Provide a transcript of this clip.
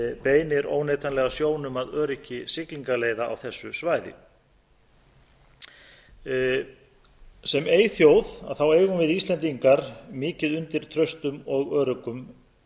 beinir óneitanlega sjónum að öryggi siglingaleiða á þessu svæði sem eyþjóð eigum við íslendingar mikið undir traustum og öruggum